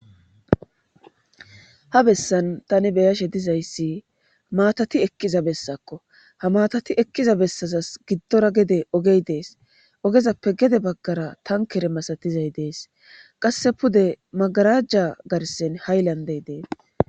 Ha bessan tani beyashe dizayssi maatati ekkiza bessakko ha matati ekkiza bessazas giddora gede ogey dees ogezappe gede baggara tankere masatizay dees qasse pude magarajja garsen hai landey dee.